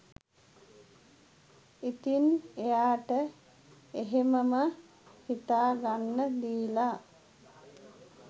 ඉතින් එයාට එහෙමම හිතා ගන්න දීලා